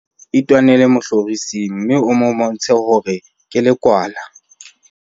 itwanele mohlorising mme o mmontshe hore ke lekwala